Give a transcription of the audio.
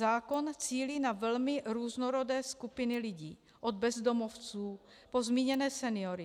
Zákon cílí na velmi různorodé skupiny lidí, od bezdomovců po zmíněné seniory.